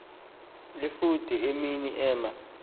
efude emi ema